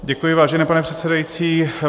Děkuji, vážený pane předsedající.